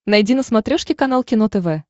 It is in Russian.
найди на смотрешке канал кино тв